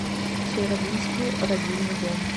северодвинский родильный дом